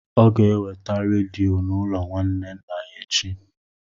Ọ ga-eweta rediyo n'ụlọ nwanne nna ya echi.